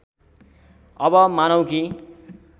अब मानौँ कि